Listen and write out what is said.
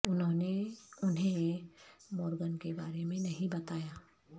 انہوں نے انہیں مورگن کے بارے میں نہیں بتایا